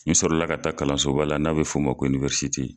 N sɔrɔ la ka taa kalanso ba la n'a bɛ f'o ma ko